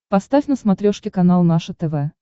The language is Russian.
поставь на смотрешке канал наше тв